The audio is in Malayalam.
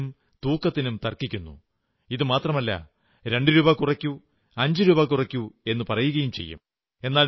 അളവിനും തൂക്കത്തിനും തർക്കിക്കുന്നു ഇത്രമാത്രമല്ല രണ്ടുരൂപാ കുറയ്ക്കൂ അഞ്ചു രൂപാ കുറയ്ക്കൂ എന്നു പറയുകയും ചെയ്യും